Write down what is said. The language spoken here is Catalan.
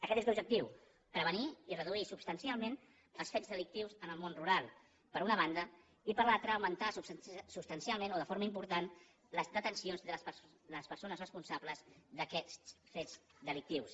aquest és l’objectiu prevenir i reduir substancialment els fets delictius en el món rural per una banda i per l’altra augmentar substancialment o de forma important les detencions de les persones responsables d’aquests fets delictius